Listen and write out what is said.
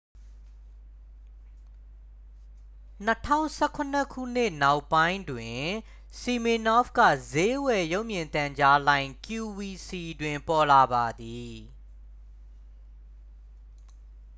2017 ခုနှစ်နှောင်းပိုင်းတွင် စီမင်နော့ဖ်က စျေးဝယ် ရုပ်မြင်သံကြားလိုင်း qvc တွင် ပေါ်လာပါသည်